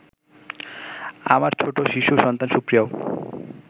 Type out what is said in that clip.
আমার ছোট শিশু সন্তান সুপ্রিয়াও